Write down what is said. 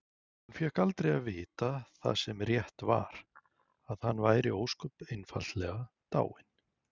Hún fékk aldrei að vita það sem rétt var: að hann væri ósköp einfaldlega dáinn.